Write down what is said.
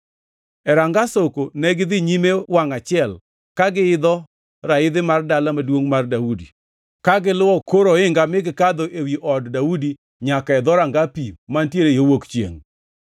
E Ranga Soko negidhi nyime wangʼ achiel ka giidho raidhi mar Dala Maduongʼ mar Daudi ka giluwo kor ohinga mi gikadho ewi od Daudi nyaka e Dhoranga Pi mantiere yo wuok chiengʼ.